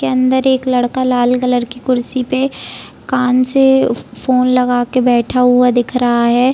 उसके अंदर एक लड़का लाल कलर की कुर्सी पे कान से फोन लगा के बैठा हुआ दिख रहा है।